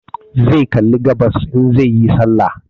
Zai kalli gabas in zai yi sallah